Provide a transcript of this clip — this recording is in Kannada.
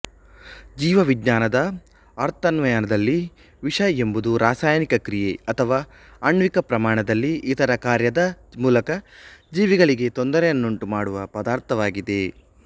ಜೀವವಿಜ್ಞಾನದ ಅರ್ಥಾನ್ವಯದಲ್ಲಿ ವಿಷ ಎಂಬುದು ರಾಸಾಯನಿಕ ಕ್ರಿಯೆ ಅಥವಾ ಆಣ್ವಿಕಪ್ರಮಾಣದಲ್ಲಿ ಇತರ ಕಾರ್ಯದ ಮೂಲಕ ಜೀವಿಗಳಿಗೆ ತೊಂದರೆಯನ್ನುಂಟುಮಾಡುವ ಪದಾರ್ಥವಾಗಿದೆ